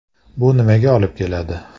Bu nimaga olib keladi?